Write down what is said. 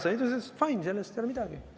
Ta ütles, et fine, sellest ei ole midagi.